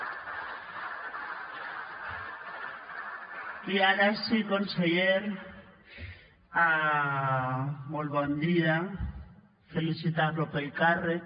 i ara sí conseller molt bon dia felicitar lo pel càrrec